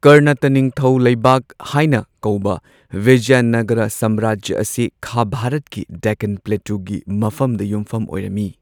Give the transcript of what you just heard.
ꯀꯔꯅꯇ ꯅꯤꯡꯊꯧ ꯂꯩꯕꯥꯛ ꯍꯥꯏꯅ ꯀꯧꯕ ꯕꯤꯖꯌꯅꯒꯔ ꯁꯥꯝꯔꯥꯖ꯭ꯌ ꯑꯁꯤ ꯈꯥ ꯚꯥꯔꯠꯀꯤ ꯗꯦꯛꯀꯥꯟ ꯄ꯭ꯂꯦꯇꯨꯒꯤ ꯃꯐꯝꯗ ꯌꯨꯝꯐꯝ ꯑꯣꯏꯔꯝꯃꯤ꯫